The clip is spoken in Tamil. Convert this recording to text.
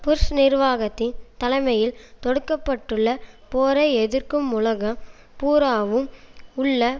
புஷ் நிர்வாகத்தின் தலைமையில் தொடுக்க பட்டுள்ள போரை எதிர்க்கும் உலகம் பூராவும் உள்ள